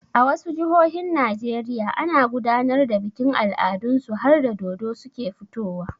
A wasu jihohin Najeriya ana gudanar da bikin al'adun su harda dodo suke fitowa.